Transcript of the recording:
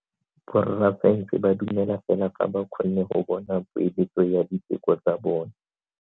Borra saense ba dumela fela fa ba kgonne go bona poeletso ya diteko tsa bone.